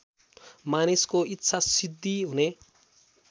मानिसको इच्छासिद्धि हुने